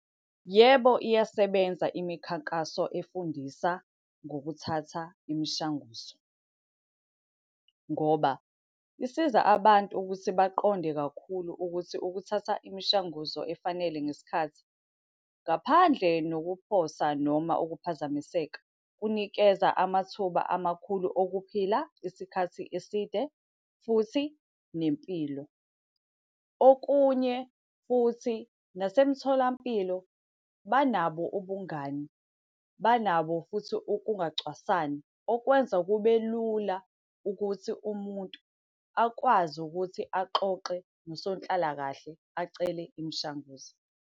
Yebo, iyasebenza imikhankaso efundisa ngokuthatha imishanguzo. Ngoba isiza abantu ukuthi baqonde kakhulu ukuthi ukuthatha imishanguzo efanele ngesikhathi, ngaphandle nokuphosa noma ukuphazamiseka, kunikeza amathuba amakhulu okuphila isikhathi eside, futhi nempilo. Okunye futhi nasemtholampilo banabo ubungani, banabo futhi ukungacwasani okwenza kube lula ukuthi umuntu akwazi ukuthi axoxe nosonhlalakahle acele imishanguzo.